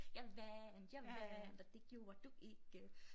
Jeg vandt jeg vandt og det gjorde du ikke